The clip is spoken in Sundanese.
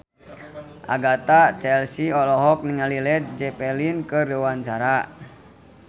Agatha Chelsea olohok ningali Led Zeppelin keur diwawancara